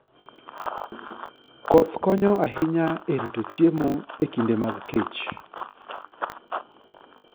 Koth konyo ahinya e rito chiemo e kinde mag kech